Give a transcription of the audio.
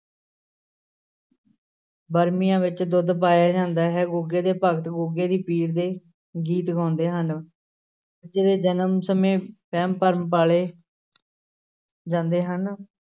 ਵਰਮੀਆਂ ਵਿੱਚ ਦੁੱਧ ਪਾਇਆ ਜਾਂਦਾ ਹੈ, ਗੁੱਗੇ ਦੇ ਭਗਤ ਗੁੱਗੇ ਦੇ ਪੀਰ ਦੇ ਗੀਤ ਗਾਉਂਦੇ ਹਨ, ਬੱਚੇ ਦੇ ਜਨਮ ਸਮੇਂ ਵਹਿਮ ਭਰਮ ਪਾਲੇ ਜਾਂਦੇ ਹਨ।